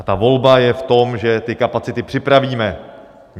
A ta volba je v tom, že ty kapacity připravíme.